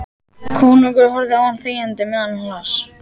Konungur horfði á hann þegjandi á meðan hann las: